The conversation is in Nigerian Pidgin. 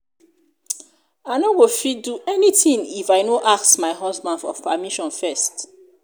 i no go fit do anything if i no ask my husband for permission first